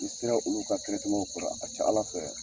N'i sera olu ka kɔrɔ a ka ca ALA fɛ.